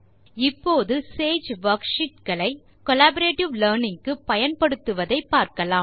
இப்போது Sage worksheets களை collaborative learning க்கு பயன்படுத்துவதை பார்க்கலாம்